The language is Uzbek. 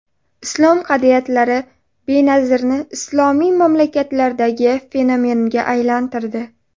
Islom qadriyatlari Benazirni islomiy mamlakatdagi fenomenga aylantirdi.